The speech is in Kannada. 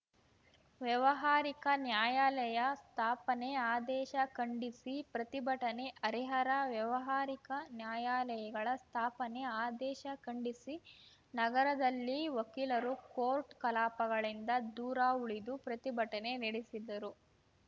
ವ್ಯಾವಹಾರಿಕ ನ್ಯಾಯಾಲಯ ಸ್ಥಾಪನೆ ಆದೇಶ ಖಂಡಿಸಿ ಪ್ರತಿಭಟನೆ ಹರಿಹರ ವ್ಯಾವಹಾರಿಕ ನ್ಯಾಯಾಲಯಗಳ ಸ್ಥಾಪನೆ ಆದೇಶ ಖಂಡಿಸಿ ನಗರದಲ್ಲಿ ವಕೀಲರು ಕೋರ್ಟ್‌ ಕಲಾಪಗಳಿಂದ ದೂರ ಉಳಿದು ಪ್ರತಿಭಟನೆ ನೆಡೆಸಿದರು